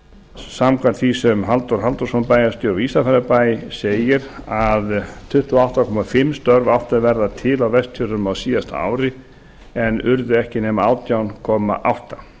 samkvæmt því sem halldór halldórsson bæjarstjóri í ísafjarðarbæ segir að tuttugu og átta komma fimm störf áttu að verða til á vestfjörðum á síðasta ári en urðu ekki nema átján komma átta